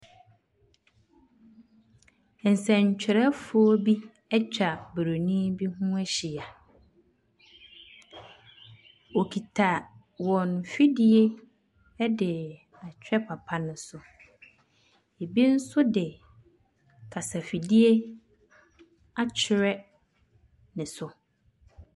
Nsɛntwerɛfoɔ bi atwa Buronin bi ho ahyia. Wɔkita wɔn mfidie de ahwɛ papa no so. Ɛbi nso de kasafidie akyerɛ ne so.